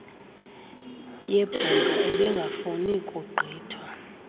yebhunga ebengafuni kugqithwa